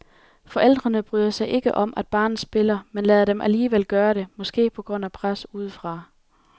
Forældrene bryder sig ikke om, at barnet spiller, men lader dem alligevel gøre det, måske på grund af pres udefra.